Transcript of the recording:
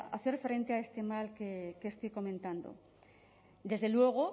hacer frente a este mal que estoy comentando desde luego